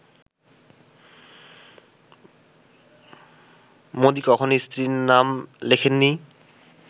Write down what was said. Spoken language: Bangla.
মোদি কখনোই স্ত্রীর নাম লেখেননি